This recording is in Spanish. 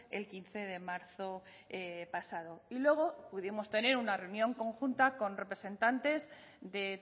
el quince de marzo pasado y luego pudimos tener una reunión conjunta con representantes de